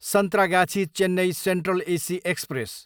Santragachi, Chennai central AC express